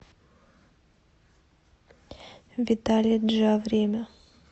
виталя джа время